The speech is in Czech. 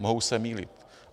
Mohu se mýlit.